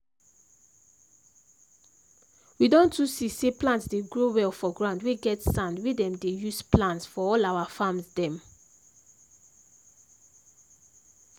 we don too see say plant dey grow well for ground wey get sand wey dem dey use plant for all our farms dem.